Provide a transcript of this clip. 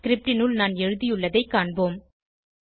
script னுள் நான் எழுதியுள்ளதை காண்போம்